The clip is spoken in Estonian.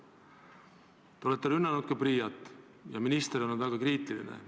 Te olete rünnanud ka PRIA-t ja minister on olnud väga kriitiline.